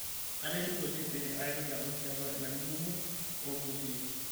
atishipe oleng pee aitoki adol tiatua ilarin kumok ootulusoitie